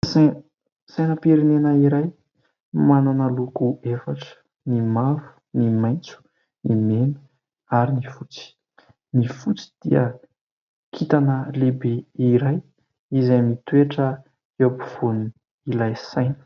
Sainam-pirenena iray manana loko efatra : ny mavo, ny maintso, ny meno ary ny fotsy. Ny fotsy dia kintana lehibe iray izay mitoetra eo ampovoany ilay saina.